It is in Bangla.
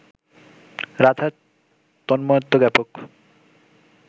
রাধার তন্ময়ত্ব জ্ঞাপক